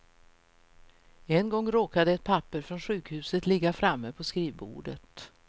En gång råkade ett papper från sjukhuset ligga framme på skrivbordet.